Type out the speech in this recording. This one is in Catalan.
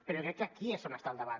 però jo crec que aquí és on està el debat